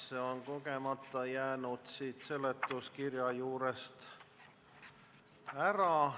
See on äkki kogemata seletuskirja juurest ära jäänud.